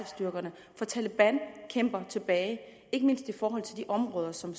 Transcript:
styrkerne for taleban kæmper tilbage ikke mindst i de områder som